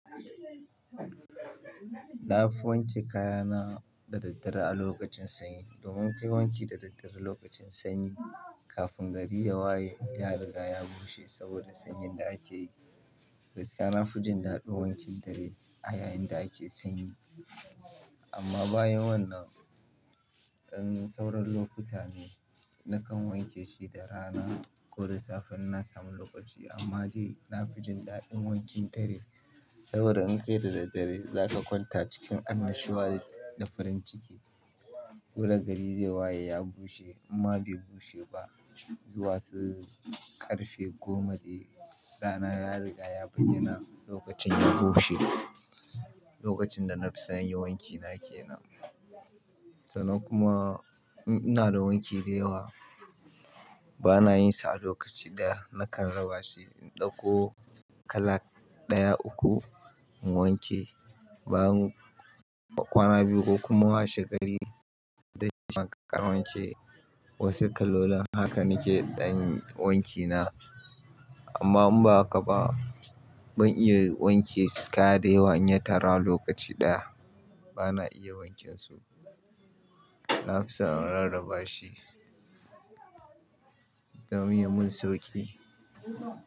Na fi wanke kaya na da daddare a lokacin sanyi. Don wanke wanki da daddare lokacin sanyi kafin gari ya waye ya riga ya bushe saboda sanyin da ake yi. Gaskiya nafijin daɗin wankin dare a yayinda ake sanyi. Amma bayan wannan, in sauran lokuta ne nakan wanke shi da rana ko da safe in na samu lokaci amma dai na fi jin daɗin wankin dare. Saboda in kai da daddare zaka kwanta cikin annashuwa da farin ciki. Koda gari zai waye ya bushe amma bai bushe ba. Zuwa su karfe goma dai rana ya riga yabai yana lokacin ya bushe. Lokacin da na fi sanyi wanki na ke nan. Sannan kuma ina da wanki da yawa bana yinsa a lokaci ɗaya. Nakan raba shi in ɗauko kalaƙ ɗaya uku in wanke bayan kwana biyu ko kuma wa shegari da shi makaran wanke. Wasu kalolin hakan nake dan wanki na. Amma in ba haka ba ban iya wanke kaya da yawa in ya tara lokaci ɗaya bana iya wankensu. Na fi son in rarraba shi domin mun sauki.